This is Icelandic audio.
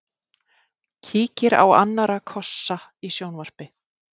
Kíkir á annarra kossa í sjónvarpi.